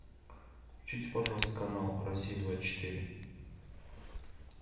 включите пожалуйста канал россия двадцать четыре